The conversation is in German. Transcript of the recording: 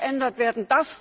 Das muss geändert werden!